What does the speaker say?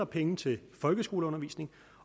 penge til folkeskoleundervisning